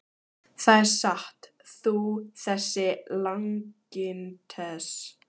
Það er satt, þú þessi langintes!